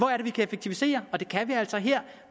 er vi kan effektivisere og det kan vi altså her